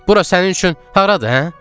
Bura sənin üçün haradır, hə?